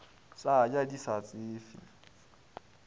sa ja di sa tsefe